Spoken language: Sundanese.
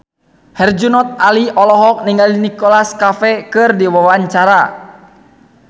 Herjunot Ali olohok ningali Nicholas Cafe keur diwawancara